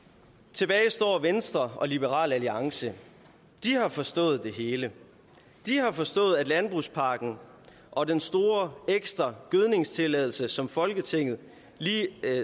tilbage står venstre og liberal alliance de har forstået det hele de har forstået at landbrugspakken og den store ekstra gødningstilladelse som folketinget